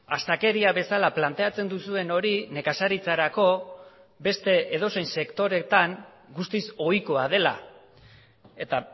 astakeria bezala planteatzen duzuen hori nekazaritzarako beste edozein sektoretan guztiz ohikoa dela eta